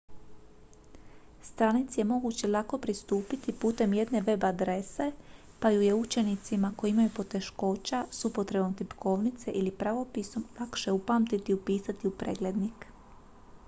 stranici je moguće lako pristupiti putem jedne web adrese pa ju je učenicima koji imaju poteškoća s upotrebom tipkovnice ili pravopisom lakše upamtiti i upisati u preglednik